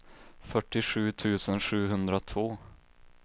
fyrtiosju tusen sjuhundratvå